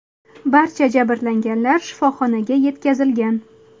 Barcha jabrlanganlar shifoxonaga yetkazilgan.